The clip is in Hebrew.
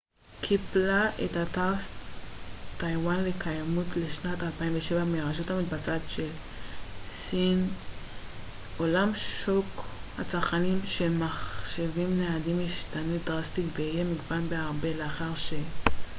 אולם שוק הצרכנים של מחשבים ניידים ישתנה דרסטית ויהיה מגוון בהרבה לאחר ש-asus קיבלה את פרס טאיוואן לקיימות לשנת 2007 מהרשות המבצעת של סין